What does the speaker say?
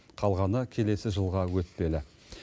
қалғаны келесі жылға өтпелі